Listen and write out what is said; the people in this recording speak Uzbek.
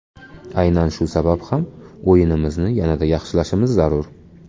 Aynan shu sabab ham o‘yinimizni yanada yaxshilashimiz zarur.